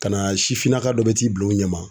Ka na sifinnaka dɔ bɛ t'i bila u ɲɛ ma.